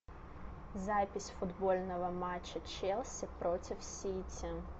запись футбольного матча челси против сити